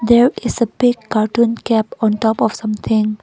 there is a big cartoon kept on top of something.